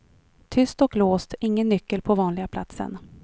Tyst och låst, ingen nyckel på vanliga platsen.